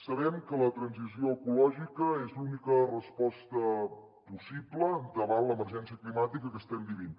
sabem que la transició ecològica és l’única resposta possible davant l’emergència climàtica que estem vivint